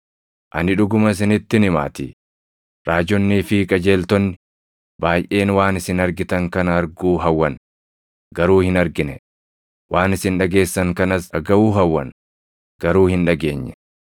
Ani dhuguma isinittin himaatii; raajonnii fi qajeeltonni baayʼeen waan isin argitan kana arguu hawwan; garuu hin argine; waan isin dhageessan kanas dhagaʼuu hawwan; garuu hin dhageenye.